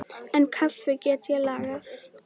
En kaffi get ég lagað.